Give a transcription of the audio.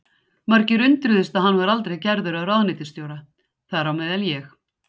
Margir undruðust að hann var aldrei gerður að ráðuneytisstjóra, þar á meðal ég.